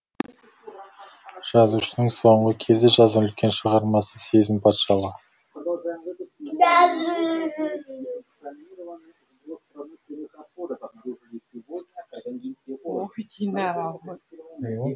жазушының соңғы кезде жазған үлкен шығармасы сезім патшалығы